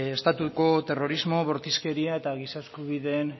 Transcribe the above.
estatuko terrorismo bortizkeria eta giza eskubideen